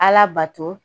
Ala bato